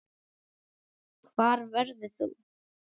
Hvar verður þú?